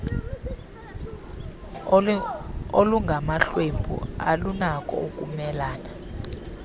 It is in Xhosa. olungamahlwempu alunako ukumelane